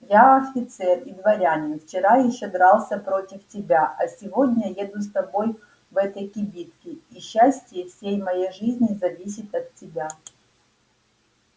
я офицер и дворянин вчера ещё дрался против тебя а сегодня еду с тобой в одной кибитке и счастье всей моей жизни зависит от тебя